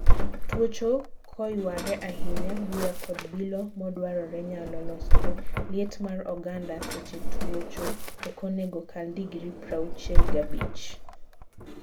Tuocho koyware ahinya, buya kod bilo mokdwarore nyalo losore. Liet mar oganda seche twuocho okonego kal degree prauchiel gabich.